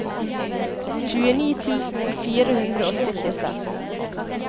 tjueni tusen fire hundre og syttiseks